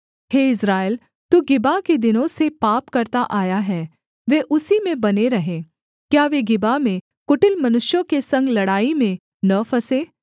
हे Israel तू Gibeah के दिनों से पाप करता आया है वे उसी में बने रहें क्या वे गिबा में कुटिल मनुष्यों के संग लड़ाई में न फँसें